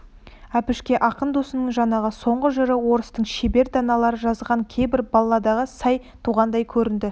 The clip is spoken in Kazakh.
әбішке ақын досының жаңағы соңғы жыры орыстың шебер даналары жазған кейбір балладаға сай туғандай көрінді